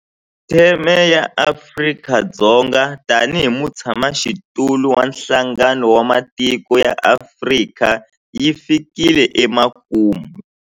Theme ya Afrika-Dzonga tanihi mutshamaxitulu wa Nhlangano wa Matiko ya Afrika yi fikile emakumu.